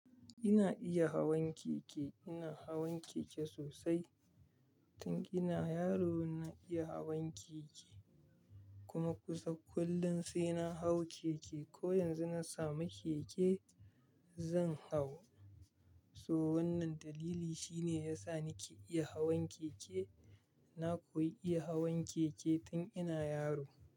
Ina iya hawan keke, ina hawan keke sosai. Tun ina yaro na iya hawan keke kuma kusan kullum sai na hau keke. Ko yanzu na samu keke zan hau. So wannan dalili shine ya sa nake iya hawan keke. Na koyi iya hawan keke tun ina yaro.